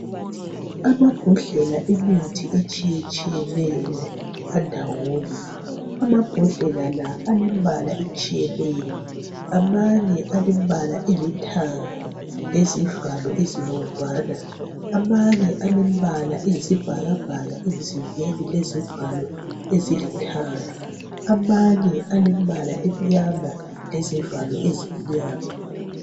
Amabhodlela emithi etshiyatshiyeneyo alembala etshiyeneyo ,eminye ngelithanga eminye ngeluhlaza eminye yisibhakabhaka emzimbeni lezivalo ezilithanga lezivalo ezimnyama.